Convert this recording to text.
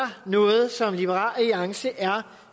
noget som liberal alliance er